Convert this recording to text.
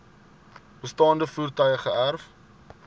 bestaande voertuie geërf